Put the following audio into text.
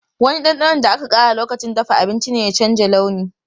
Wani ɗanɗanon da aka ƙara lokacin dafa abinci ne ya canza launi.